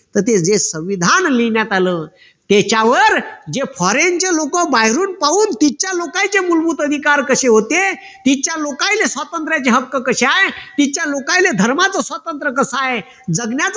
तर ते जे संविधान लिहिण्यात आलं त्याच्यावर जे foreign चे लोक बाहेरून पाहून तिथच्या लोकांचे मूलभूत अधिकार कसे होते तिथच्या लोकांचे स्वातंत्राचे हक्क कसे आहे तिथच्या लोकांना धर्माचं स्वतंत्र कस आहे जगण्याचं